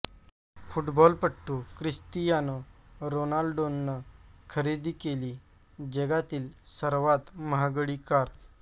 फुटबॉलपटू ख्रिस्तियानो रोनाल्डोनं खरेदी केली जगातील सर्वात महागडी कार